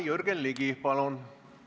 Jürgen Ligi, palun!